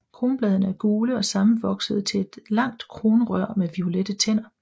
Kronbladene er gule og sammenvoksede til et langt kronrør med violette tænder